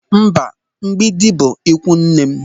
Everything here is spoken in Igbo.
Mba, Mgbịdị bụ ikwunne m.